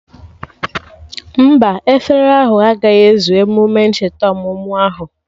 Mba, efere ahụ agaghị ezu emume ncheta ọmụmụ ahụ